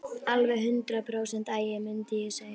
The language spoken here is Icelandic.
Alveg hundrað prósent agi, mundi ég segja.